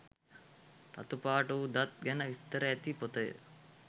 රතු පාට වූ දත් ගැන විස්තර ඇති පොතය.